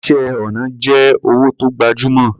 Iṣẹ́ ọnà jẹ́ òwò tó gbajúmọ̀.